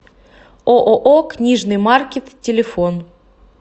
ооо книжный маркет телефон